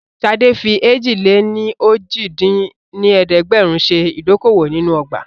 Ṣadé fi èjì-lé-ní-ojì dín ní ẹ̀ẹ́dẹ́gbẹ́rún ṣe ìdókòwò nínú ọgbà